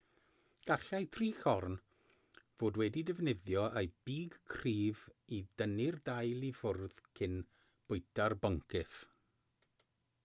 gallai trichorn fod wedi defnyddio ei big cryf i dynnu'r dail i ffwrdd cyn bwyta'r boncyff